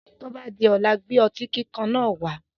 Tó bá di ọ̀la, gbé otí kíkan náà wá.